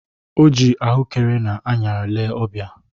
O jiri ahụekere na añara lee ọbia